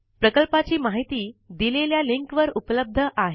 प्रकल्पाची माहिती दिलेल्या लिंक वर उपलब्ध आहे